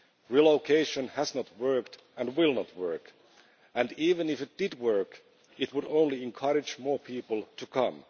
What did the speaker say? Relocation has not worked and will not work and, even if it did work, it would only encourage more people to come.